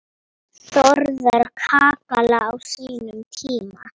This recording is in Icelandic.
Þórðar kakala á sínum tíma.